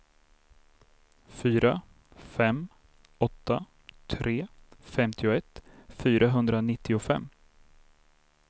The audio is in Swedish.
fyra fem åtta tre femtioett fyrahundranittiofem